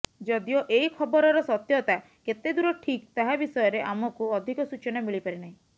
ଯଦିଓ ଏହି ଖବରର ସତ୍ୟତା କେତେ ଦୂର ଠିକ୍ ତାହା ବିଷୟରେ ଆମକୁ ଅଧିକ ସୂଚନା ମିଳିପାରି ନାହିଁ